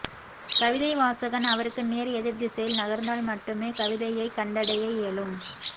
கவிதைவாசகன் அவருக்கு நேர் எதிர் திசையில் நகர்ந்தால்மட்டுமே கவிதையைக் கண்டடைய இயலும்